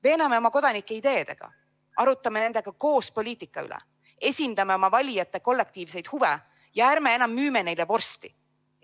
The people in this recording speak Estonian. Veename oma kodanikke ideedega, arutame nendega koos poliitika üle, esindame oma valijate kollektiivseid huve ja ärme enam müüme neile vorsti!